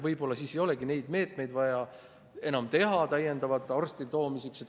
Võib-olla siis ei olegi vaja enam täiendavalt neid meetmeid arstide toomiseks.